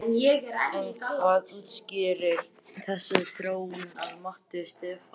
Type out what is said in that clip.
En hvað útskýrir þessa þróun að mati Stefáns?